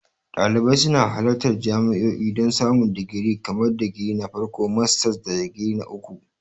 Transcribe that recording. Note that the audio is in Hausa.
Dalibai suna halartar jami'o'i don samun digiri kamar digiri na farko, masters, da digiri na uku.